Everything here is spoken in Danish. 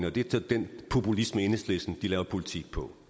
og det er så den populisme enhedslisten laver politik på